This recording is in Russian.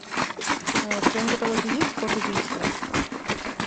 в твоем каталоге есть код убийства